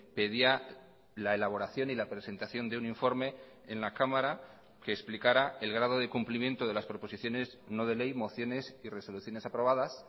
pedía la elaboración y la presentación de un informe en la cámara que explicara el grado de cumplimiento de las proposiciones no de ley mociones y resoluciones aprobadas